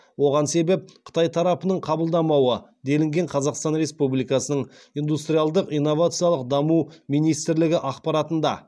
оған себеп қытай тарапының қабылдамауы делінген қазақстан республикасының индустриялдық инновациялық даму министрлігі ақпаратында